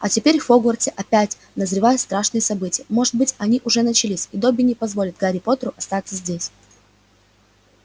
а теперь в хогвартсе опять назревают страшные события может быть они уже начались и добби не позволит гарри поттеру остаться здесь